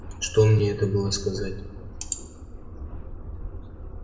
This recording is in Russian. что мне это было сказать